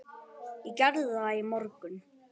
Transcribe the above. Ég gerði það í morgun.